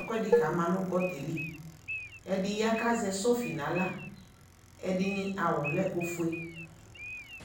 ɛkʋɛdi kama nʋ gɔta yɛ li Ɛdi ya kʋ azɛ sɔfi n'aɣla, ɛdini awʋ lɛ ofue